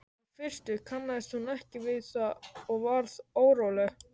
Í fyrstu kannaðist hún ekki við það og varð óróleg.